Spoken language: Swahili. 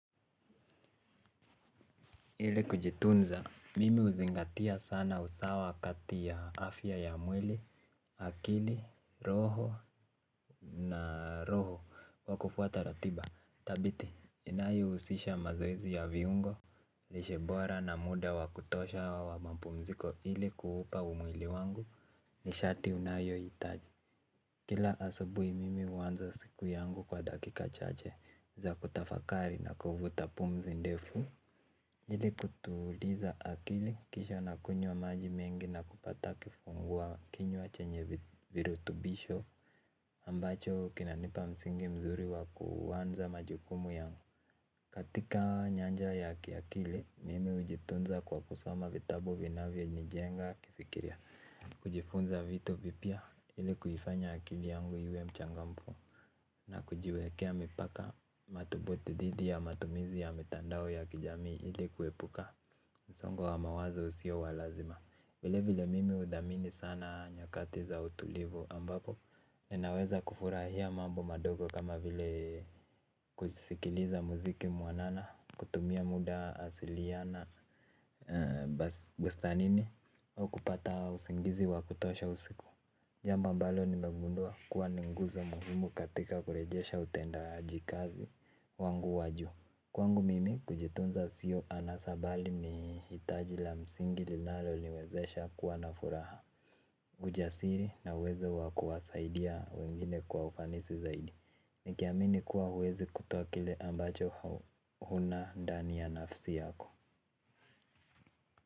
Ile kujitunza, mimi huzingatia sana usawa kati ya afya ya mwili, akili, roho na roho wakufuata ratiba thabiti, inayo husisha mazoezi ya viungo, lishe bora na muda wakutosha wa mampumziko ili kuhupa umwili wangu ni shati unayohitaji. Kila asubui mimi huanza siku yangu kwa dakika chache za kutafakari na kuvuta pumzi ndefu. Ile kutuliza akili kisha nakunywa maji mengi na kupata kifungua kinywa achenye virutubisho ambacho kinanipa msingi mzuri wa kuanza majukumu yangu. Katika nyanja ya kiakili mimi hujitunza kwa kusoma vitabu vinavyo nijenga kifikira. Kujifunza vitu vipya ili kuifanya akili yangu iwe mchangamfu. Na kujiwekea mipaka mathubuti dhidi ya matumizi ya mitandao ya kijamii ili kuepuka msongo wa mawazo usio wa lazima. Vile vile mimi uthamini sana nyakati za utulivu ambapo ninaweza kufurahia mambo madogo kama vile kusikiliza muziki mwanana kutumia muda asiliana bustanini au kupata usingizi wa kutosha usiku. Jambo ambalo nimegundua kuwa ni nguzo muhumu katika kurejesha utendaaji kazi wangu wa juu. Kwangu mimi kujitunza sio anasa bali ni hitaji la msingi linalo niwezesha kuwa na furaha. Ujasiri na uwezo wa kuwasaidia wengine kwa ufanisi zaidi. Nikiamini kuwa huwezi kutoa kile ambacho huna ndani ya nafsi yako.